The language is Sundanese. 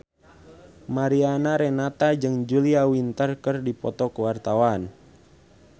Mariana Renata jeung Julia Winter keur dipoto ku wartawan